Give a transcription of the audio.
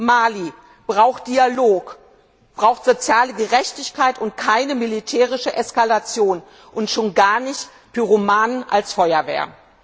Mali braucht Dialog, braucht soziale Gerechtigkeit und keine militärische Eskalation, und schon gar nicht Pyromanen als Feuerwehr!